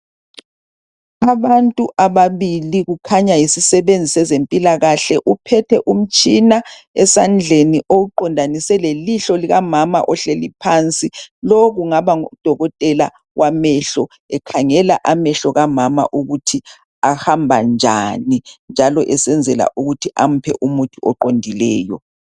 Abantu ababili, kukhanya yisisebenzi sezempilakahle. Uphethe umtshina esandleni owuqondanise lelihlo likamama ohleli phansi. Lo kungaba ngudokotela wamehlo ekhangela amehlo kamama ukuthi ahamba njani, njalo esenzela ukuthi amphe umuthi oqondileyo.